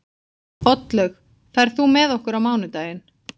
Oddlaug, ferð þú með okkur á mánudaginn?